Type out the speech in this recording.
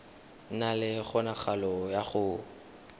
na le kgonagalo ya go